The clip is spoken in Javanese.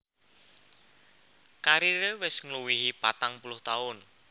Kariré wis ngluwihi patang puluh taun